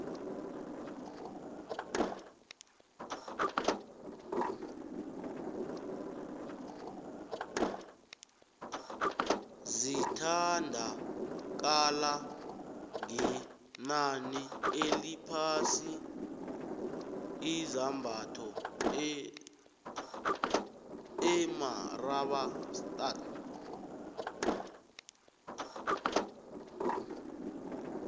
zithda kala ngenani eliphasi izambatho emarabaotadi